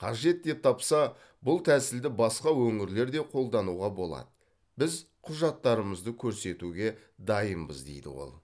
қажет деп тапса бұл тәсілді басқа өңірлер де қолдануға болады біз құжаттарымызды көрсетуге дайынбыз дейді ол